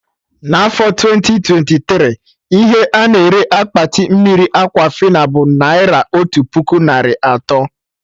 Na afọ twenti twenti tiri, ihe a-na ere Akpati mmiri Aquafina bụ naira otu puku narị atọ